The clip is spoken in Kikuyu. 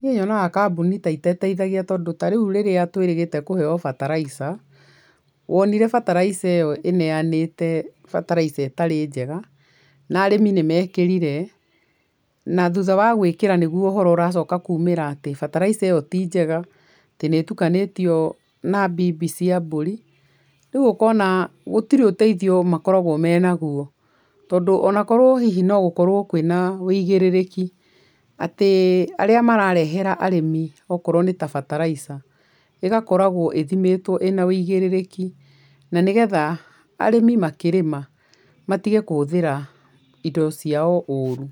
Niĩ nyonaga kambuni ta itateithagia tondũ tarĩu rĩrĩa twĩrĩgĩte kũheo bataraica wonire bataraica iyo ĩneanĩtwo bataraica ĩtarĩ njega, na arĩmi nĩ mekĩrire, na thutha wa gũĩkĩra nĩguo ũhoro ũracoka kuumĩra atĩ bataraica ĩyo ti njega, atĩ nĩ ĩtukanĩtio na mbimbi cia mbũri, rĩu ũkona gũtirĩ ũteithio makoragwo menaguo, tondũ ona korwo hihi no gũkorwo kwĩna wũigĩrĩrĩki, atĩ arĩa mararehera arĩmi okorwo nĩta bataraica, ĩgakoragwo ĩthimĩtwo ĩna wũigĩrĩrĩki na nĩ getha arĩmi makĩrĩma matige kũhũthĩra indo ciao ũũru.